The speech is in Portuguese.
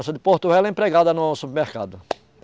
Essa de Porto Velho, é empregada num supermercado.